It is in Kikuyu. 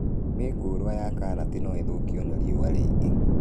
Mĩũngũrwa ya karati no ĩthũkio nĩ riũa rĩingĩ